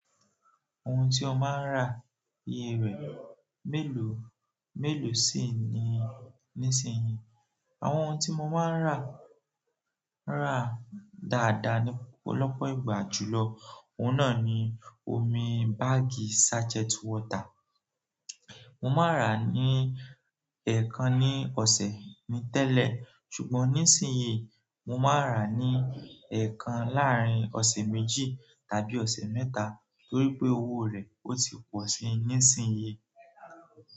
Ohun tí ọ máa ń rà iye rẹ̀ mélòó, mélòó sì ni nísinyí? Àwọn ohun tí mo máa ń rà, rà dáadáa ní ọ̀pọ̀lọpọ̀ ìgbà julọ, òun náà ni omi báàgì sachet water. Mo máa rà á ní ẹ̀ẹ̀kan ní ọ̀sẹ̀ ni tẹ́lẹ̀, ṣùgbọ́n nísinyí mo máa n rà á ní ẹ̀ẹ̀kan láàrin ọ̀sẹ̀ méjì tàbí ọ̀sẹ̀ mẹ́ta torí pé owó rẹ̀ ó ti pọ̀si nísinyí.